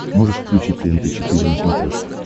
можешь включить тнт четыре на смотрешке